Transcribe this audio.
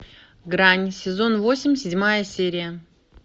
грань сезон восемь седьмая серия